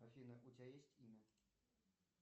афина у тебя есть имя